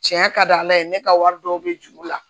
Tiɲɛ ka di ala ye ne ka wari dɔw bɛ juru la